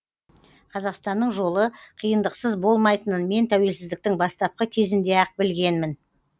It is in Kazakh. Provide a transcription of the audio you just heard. қазақстанның жолы қиындықсыз болмайтынын мен тәуелсіздіктің бастапқы кезінде ақ білгенмін